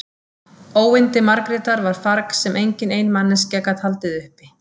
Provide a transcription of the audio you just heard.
Óyndi Margrétar var farg sem engin ein manneskja gat haldið uppi.